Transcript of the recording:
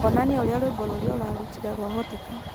onania ũrĩa rwĩmbo rũrĩa ũrarutire rwahoteka